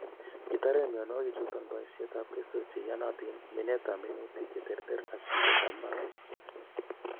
Kitoren mionwokikchuton boisietab keswek cheyonotin, minetab minutik cheterter ak bitetab mbar.